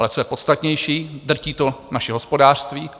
Ale co je podstatnější, drtí to naše hospodářství.